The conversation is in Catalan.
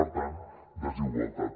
per tant desigualtat